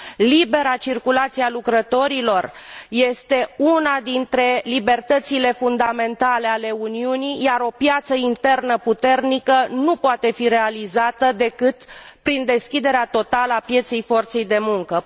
Libera circulație a lucrătorilor este una dintre libertățile fundamentale ale Uniunii, iar o piață internă puternică nu poate fi realizată decât prin deschiderea totală a pieței forței de muncă.